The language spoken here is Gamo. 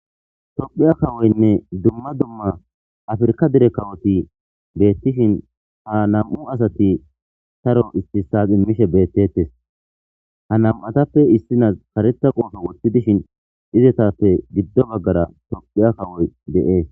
Tophiya kawoynne dumma dumma afirka dire kawoti beettishin ha nam7u asati taro istissas immishe beettettes ha nam7atappe issinas kareta qoofo wotti dishin izetappe giddo baggara tophiya kawoy de7ee.